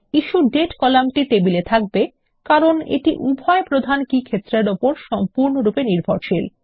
issue date কলামটি টেবিলে থাকবে কারণ এটি উভয় প্রধান কী ক্ষেত্র এর উপর সম্পূর্ণরূপে নির্ভরশীল